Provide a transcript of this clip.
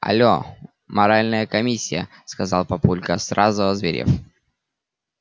алло моральная комиссия сказал папулька сразу озверев